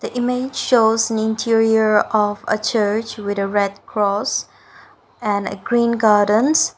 image shows interior of a church with a red cross and a green gurdens .